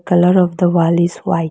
Colour of the wall is white.